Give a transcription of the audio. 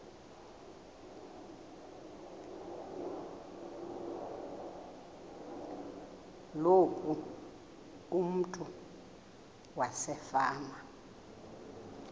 loku umntu wasefama